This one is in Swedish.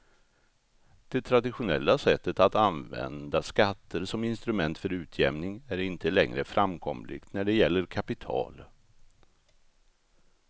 Det traditionella sättet att använda skatter som instrument för utjämning är inte längre framkomligt när det gäller kapital.